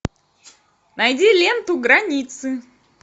найди ленту границы